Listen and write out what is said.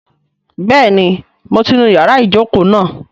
Bẹ́ẹ̀ni mo ti nu ìyára ìjókòó náà